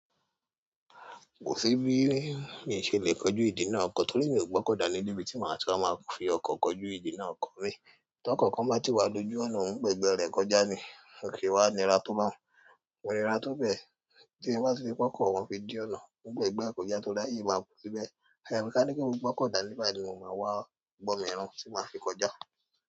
Kò sí bí mí ṣe lè kojú ìdí náà kọ́ torí mi ò gbọ́kọ̀dání níbí tí màá ti máa fi ọkọ̀ kojú ìdí náà kọ́ mi. Tí ọkọ̀ kan bá ti wá lójú ọ̀nà hún gba ẹ̀gbẹ́ rẹ̀ kọjá ni, kọ̀ wá nira tó báhun, ò nira tó bẹ́ẹ̀ tí ẹ bá ti fi ọkọ̀ wọn fi dí ọ̀nà. N ó gba ẹ̀gbẹ́ rẹ̀ kọjá torí láyé máa bọ́ síbẹ̀. Ẹ̀yin máa ní kí n gbọ́kọ̀dábí ni mo máa wá bọ́ mi irun tí màá fi kọjá.